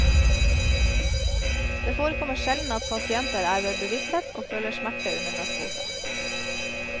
Det forekommer sjelden at pasienter er ved bevissthet og føler smerte under narkose.